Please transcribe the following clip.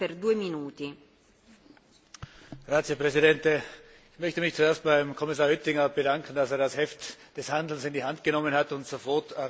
Frau Präsidentin! Ich möchte mich zuerst beim Kommissar Oettinger bedanken, dass er das Heft des Handelns in die Hand genommen und sofort reagiert hat, als die Ölkatastrophe passiert ist.